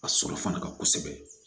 A sɔrɔ fana ka kosɛbɛ